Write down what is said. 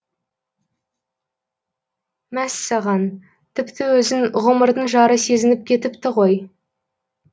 мәс саған тіпті өзін ғұмырдың жары сезініп кетіпті ғой